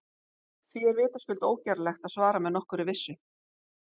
Því er vitaskuld ógerlegt að svara með nokkurri vissu.